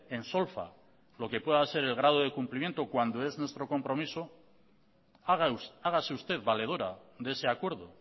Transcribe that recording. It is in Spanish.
en solfa lo que pueda ser el grado de cumplimiento cuando es nuestro compromiso hágase usted valedora de ese acuerdo